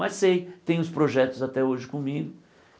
Mas sei, tenho os projetos até hoje comigo.